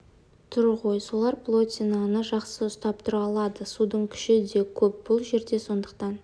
тұр ғой солар плотинаны жақсы ұстап тұра алады судың күші де көп бұл жерде сондықтан